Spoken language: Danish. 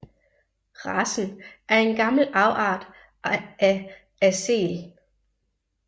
Racen er en gammel afart af Aseel